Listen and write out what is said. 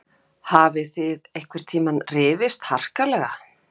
Eva Bergþóra Guðbergsdóttir: Hafið þið einhvern tíma rifist harkalega?